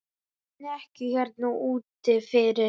Í snekkju hérna úti fyrir!